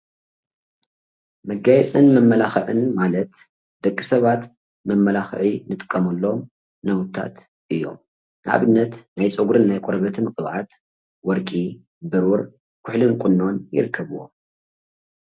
መጋየፅን መመላኽዕን ማለት ደቂሰባት መመላኽዒ እንጥቀመሎሞ ናውታት እዮሞ። ንኣብነት ናይ ፀጉርን ናይ ቆርበትን ቅብኣት ወርቂ፣ ብሩር ፣ኩሕሊን ቁኖን ይርከብዎም።